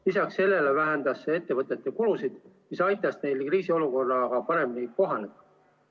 Lisaks sellele vähendas see ettevõtete kulusid, mis aitas neil kriisiolukorraga paremini kohaneda.